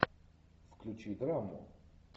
включи драму